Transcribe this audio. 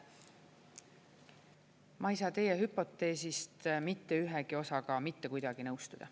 Ma ei saa teie hüpoteesist mitte ühegi osaga mitte kuidagi nõustuda.